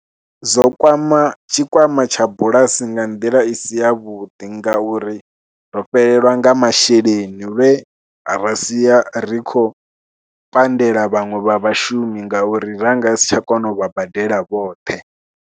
Zwo kwama tshikwama tsha bulasi nga nḓila i si yavhuḓi ngauri ro fhelelwa nga masheleni lwe ra sia ri khou pandela vhaṅwe vha vhashumi ngauri ra nga si tsha kona u vha badela vhoṱhe.